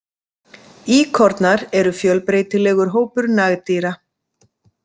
Íkornar eru fjölbreytilegur hópur nagdýra.